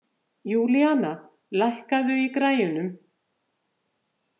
Júlíana, lækkaðu í græjunum.